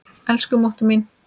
Elsku mútta mín.